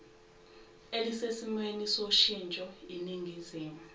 elisesimweni soshintsho iningizimu